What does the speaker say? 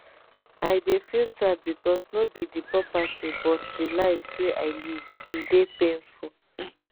i dey feel sad becos no be di property but di lives wey i lose e dey paniful